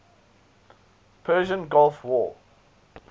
persian gulf war